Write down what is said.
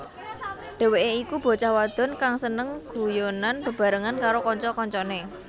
Dheweké iku bocah wadon kang seneng guyonan bebarengan karo kanca kancané